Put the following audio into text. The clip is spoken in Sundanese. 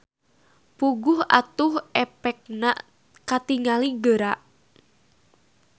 Puguh atuh epekna katingali geura.